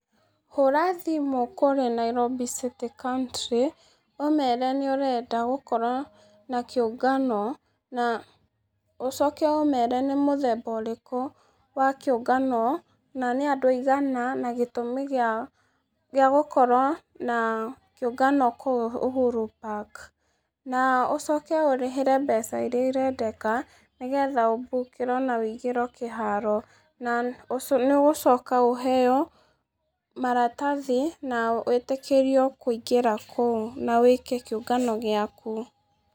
Hũra thĩmũ kũri Nairobi City Country ũmere nĩúũenda gũkorwo na kĩungano na ũcoke ũmere nĩ mũthemba ũrĩkũ wa kĩũngano na nĩ andũ aĩgana na nĩ gĩtũmĩ gĩa gĩa gũkorwo na kĩũngano kũu Uhuru park na ũcoke ũrĩhĩre mbeca irĩa irendeka nĩgetha ũbũkĩrwo na wĩigĩrwo kĩharo na nĩũgũcoka ũheo maratathi na wĩtĩkĩrĩo kũingĩra kũu na wĩke kĩũngano gĩakũ .